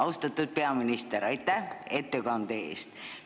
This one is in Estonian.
Austatud peaminister, aitäh ettekande eest!